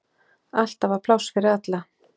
Alltaf var pláss fyrir alla.